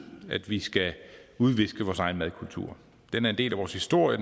at vi skal udviske vores egen madkultur den er en del af vores historie